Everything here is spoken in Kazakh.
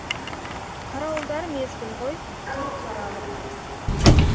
қарауылдар мезгіл ғой тұр қаралық